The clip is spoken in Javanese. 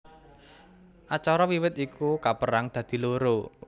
Acara wiwit iku kapérang dadi loro